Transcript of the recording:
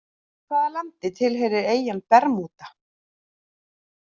Hvaða landi tilheyrir eyjan Bermúda?